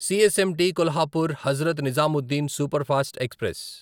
CSMT Kolhapur Hazrat Nizamuddin superfast express